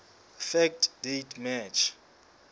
fact date march